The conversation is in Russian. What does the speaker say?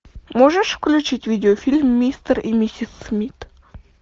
можешь включить видеофильм мистер и миссис смит